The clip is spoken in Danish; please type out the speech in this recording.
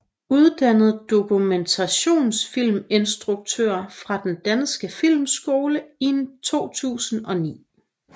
Uddannet dokumentarfilminstruktør fra Den Danske Filmskole i 2009